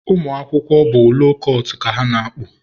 ụmụ akwụkwọ bụ loo kụtụ ka ha na-akpụ.